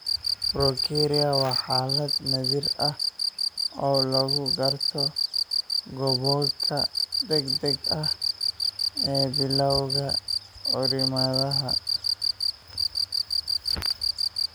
Progeria waa xaalad naadir ah oo lagu garto gabowga degdega ah ee bilawga carruurnimada.